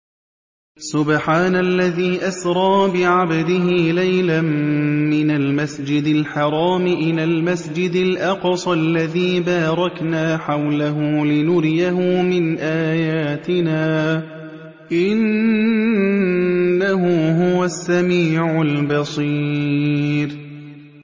سُبْحَانَ الَّذِي أَسْرَىٰ بِعَبْدِهِ لَيْلًا مِّنَ الْمَسْجِدِ الْحَرَامِ إِلَى الْمَسْجِدِ الْأَقْصَى الَّذِي بَارَكْنَا حَوْلَهُ لِنُرِيَهُ مِنْ آيَاتِنَا ۚ إِنَّهُ هُوَ السَّمِيعُ الْبَصِيرُ